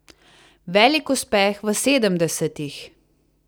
Velik uspeh v sedemdesetih.